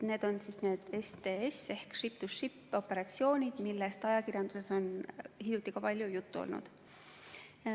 Need on STS- ehk ship-to-ship operatsioonid, millest ajakirjanduses on hiljuti ka palju juttu olnud.